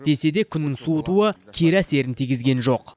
десе де күннің суытуы кері әсерін тигізген жоқ